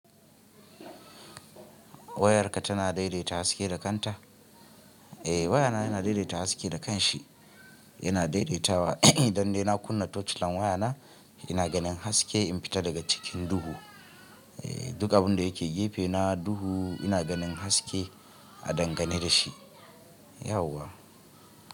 Wayarka tana daidaita haske da kanta? Eh wayana yana daidaita haske da kanshi. Yana daidaitawa. Don dai na kunna torch lan wayana, ina ganin haske in fita daga cikin duhu. Duk abin da yake gefe na duhu ina ganin haske a dangane da shi. Yauwa.